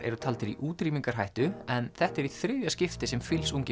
eru taldir í útrýmingarhættu en þetta er í þriðja skiptið sem